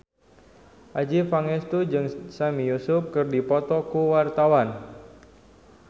Adjie Pangestu jeung Sami Yusuf keur dipoto ku wartawan